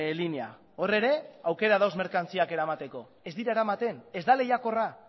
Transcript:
linea hor ere aukera dago merkantziak eramateko ez dira eramaten ez da lehiakorra